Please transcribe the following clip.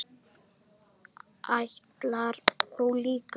Ætlar þú líka?